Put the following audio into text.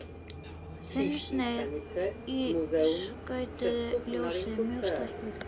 Þunnsneið í skautuðu ljósi mjög stækkuð.